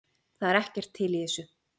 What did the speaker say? Það er ekkert til í þessu